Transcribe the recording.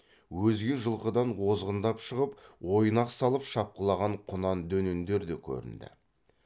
өзге жылқыдан озғындап шығып ойнақ салып шапқылаған құнан дөнендер де көрінді